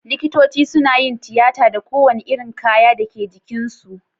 Likitoci sunayin tiyata da ko wani irin kaya Dake jikin su